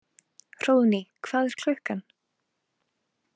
Hróðný, hvað er klukkan?